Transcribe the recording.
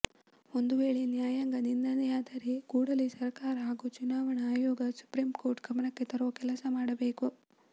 ಒಂದು ವೇಳೆ ನ್ಯಾಯಾಂಗ ನಿಂದನೆಯಾದರೆ ಕೂಡಲೇ ಸರ್ಕಾರ ಹಾಗೂ ಚುನಾವಣಾ ಆಯೋಗ ಸುಪ್ರೀಂಕೋರ್ಟ್ ಗಮನಕ್ಕೆ ತರುವ ಕೆಲಸ ಮಾಡಬೇಕು